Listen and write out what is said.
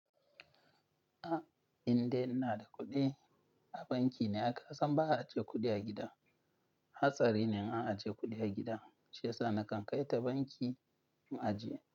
A indai ina da kuɗi, a banki na. A'aka san ba a ajiye kuɗi a gida. Hatsari ne in an ajiye kuɗi a gida. Shi ya sa na kan kai ta banki in ajiye.